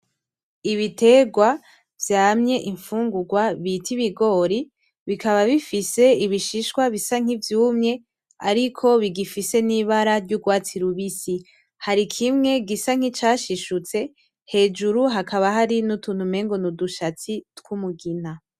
Ibiterwa vyamye imfungurwa vyitwa ibigori bikaba bifise ishishwa vyumye ari bigifise nibara ryurwatsi rubisi. Hari kiimwe gisa nicashishutse, hejuru hakaba hari nudushatsi dusa n'umugina.